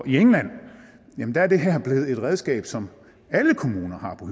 i england er det her blevet et redskab som alle kommuner har på